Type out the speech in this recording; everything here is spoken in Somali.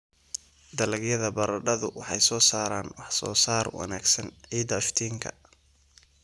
Dalagyada baradhadu waxay soo saaraan wax-soo-saar wanaagsan ciidda iftiinka.